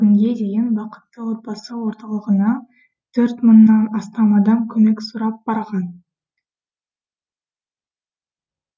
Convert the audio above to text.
бүгінге дейін бақытты отбасы орталығына нан астам адам көмек сұрап барған